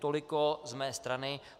Tolik z mé strany.